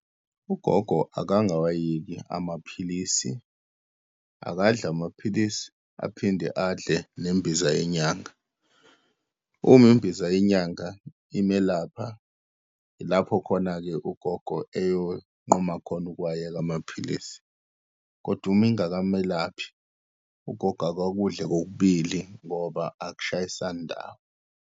UGogo akangawayeki amaphilisi, akadle amaphilisi aphinde adle nembiza yenyanga. Uma imbiza yenyanga imelapha, ilapho khona-ke ugogo eyokunquma khona ukuwayeka amaphilisi, kodwa uma ingakamelaphi, ugogo akakudle kokubili, ngoba akushayisani ndawo.